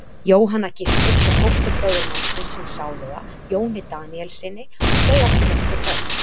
Jóhanna giftist svo fósturbróður mannsins síns sáluga, Jóni Daníelssyni, og þau áttu nokkur börn.